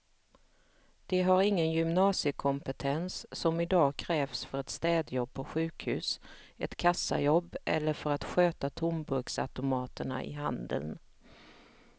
De har ingen gymnasiekompetens som i dag krävs för ett städjobb på sjukhus, ett kassajobb eller för att sköta tomburksautomaterna i handeln.